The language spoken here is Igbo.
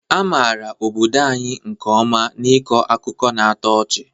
A maara obodo anyị nke ọma n'ịkọ akụkọ na-atọ ọchị